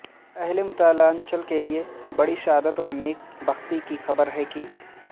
ا ہل متھلانچل کےلئے بڑی سعادت ونیک بختی کی خبر ہے کہ